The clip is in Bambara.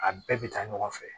A bɛɛ bɛ taa ɲɔgɔn fɛ